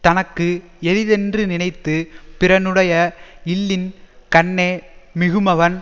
தனக்கு எளிதென்று நினைத்து பிறனுடைய இல்லின் கண்ணே மிகுமவன்